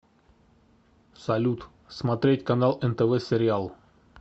салют смотреть канал нтв сериал